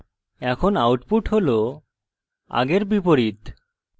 এখন output হল আগের বিপরীত